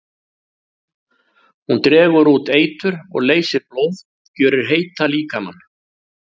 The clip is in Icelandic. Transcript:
Hún dregur út eitur og leysir blóð, gjörir heitan líkama.